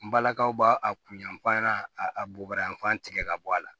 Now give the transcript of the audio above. N balakaw b'a a kun yanfan ɲana a bobayanfan tigɛ ka bɔ a la